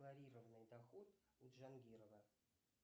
задекларированный доход у джангирова